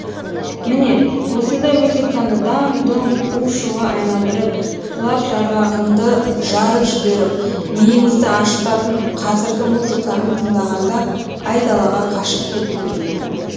міне осындай музыканы даң дұң у шуға айналдырып құлақ жарғағыңды жарып жіберіп миыңызды ашытатын қазіргі музыканы тыңдағанда айдалаға қашып кеткің келеді